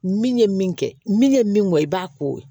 Min ye min kɛ min ye min ŋɔni i b'a ko